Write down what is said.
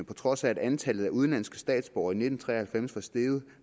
på trods af at antallet af udenlandske statsborgere i nitten tre og halvfems var steget